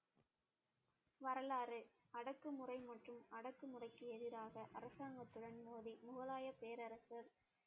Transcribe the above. வரலாறு அடக்குமுறை மற்றும் அடக்குமுறைக்கு எதிராக அரசாங்கத்துடன் மோதி முகலாய பேரரசு